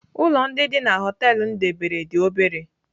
Ụlọ ndị dị na họtelu m debere dị obere.